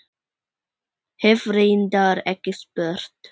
Hef reyndar ekki spurt.